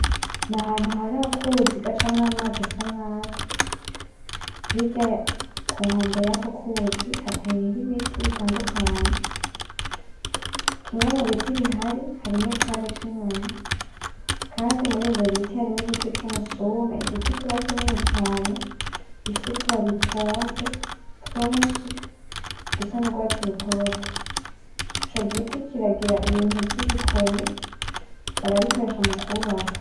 N'ahantu hari akuzi gacamwo amazi asa nabi. Hirya kunkombe yako kuzi hateyeho Ibiti bitandukanye kimwe mubiti bihari harimwo icari c'inyoni, kandi murivyo biti harimwo igiti cumusuna. Igiti kiba kinini cane gifise utubabi twonze twinshi dusa nurwatsi rutoto, ico giti kiragira Ibintu vyibikoni barabikoresha mukubaka.